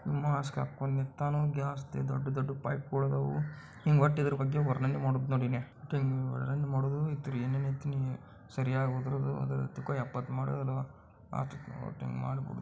ಹಾಕ್ಕೊಂಡು ನಿಂತಿಯಾನು ಗ್ಯಾಸ್ದು ದೊಡ್ಡ ದೊಡ್ಡ ಪೈಪ್ಗಳು ಹದವು ಒಟ್ಟು ಇದ್ದಾರ ಬಗ್ಗೆ ವರ್ಣನೆ ಮಾಡ್ದು ನೋಡು ನೀನೆ ಹಮ್ ಒಟ್ಟು ಇನ್ಗೆ ವರ್ಣನೆ ಮಾಡೋದು ಏನ್ ಏನ್ ಇತ್ತು ಸರಿಯಾಗಿ ಹೋದರುವುದು ಎಪ್ಪತ್ತು--